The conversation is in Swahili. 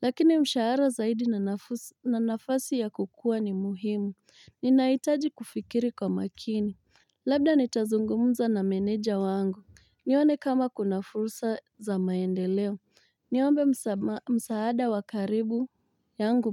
lakini mshahara zaidi na nafuu na nafasi ya kukuwa ni muhimu, ninahitaji kufikiri kwa makini, labda nitazungumza na meneja wangu, nione kama kuna fursa za maendeleo, niombe msaada wa karibu yangu.